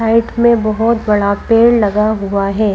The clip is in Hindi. साइड में बहोत बड़ा पेड़ लगा हुआ है।